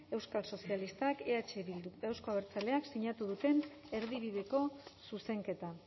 euskal sozialistak eh bilduk eta euzko abertzaleek sinatu duten erdibideko zuzenketa